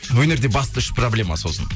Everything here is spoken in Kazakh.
өнерде басты үш проблема сосын